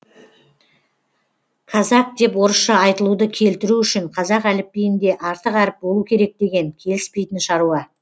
казак деп орысша айтылуды келтіру үшін қазақ әліпбиінде артық әріп болу керек деген келіспейтін шаруа